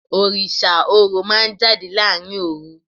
Orísà Orò ma n jadé larín orú